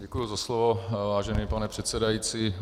Děkuji za slovo, vážený pane předsedající.